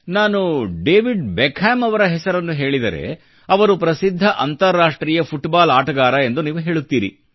ನಾನು David Beckham ಅವರ ಹೆಸರನ್ನು ಹೇಳಿದರೆ ಅವರು ಪ್ರಸಿದ್ಧ ಅಂತರರಾಷ್ಟ್ರೀಯ ಫುಟ್ ಬಾಲ್ ಆಟಗಾರ ಎಂದು ನೀವು ಹೇಳುತ್ತೀರಿ